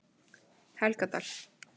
Helgadal